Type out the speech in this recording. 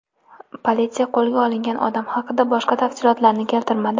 Politsiya qo‘lga olingan odam haqida boshqa tafsilotlarni keltirmadi.